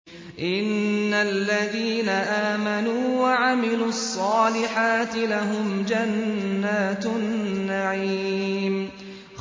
إِنَّ الَّذِينَ آمَنُوا وَعَمِلُوا الصَّالِحَاتِ لَهُمْ جَنَّاتُ النَّعِيمِ